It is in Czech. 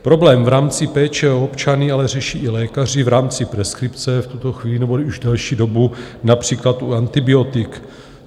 Problém v rámci péče o občany ale řeší i lékaři v rámci preskripce v tuto chvíli nebo už delší dobu například u antibiotik.